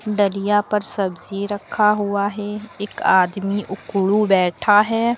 डलिया पर सब्जी रखा हुआ है एक आदमी उकड़ू बैठा है।